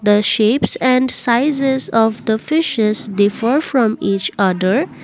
the shapes and sizes of the fishes differ from each other.